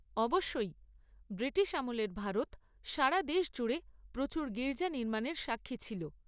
অবশ্যই। ব্রিটিশ আমলের ভারত সারা দেশ জুড়ে প্রচুর গীর্জা নির্মাণের সাক্ষী ছিল।